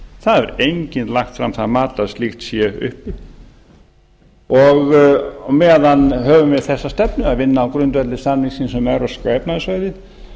það hefur enginn lagt fram það mat að slíkt sé uppi og meðan höfum við þessa stefnu að vinna á grundvelli samningsins um evrópska efnahagssvæðið